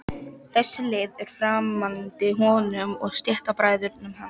Sólborg fararstjóri fjarri góðu gamni núna.